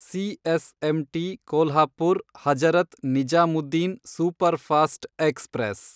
CSMT Kolhapur Hazrat Nizamuddin superfast express